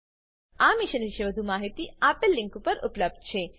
આ મિશન પરની વધુ માહિતી spoken tutorialorgnmeict ઇન્ટ્રો પર ઉપલબ્ધ છે